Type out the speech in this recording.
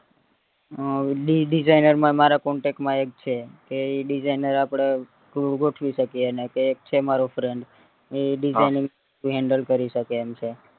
અ designer માં મારા contact માં એક છે કે ઈ designer આપડે થોડું ગોઠવી શકીએ એને તે છે મારો friend ને ઈ designing handle કરી શકે એમ છે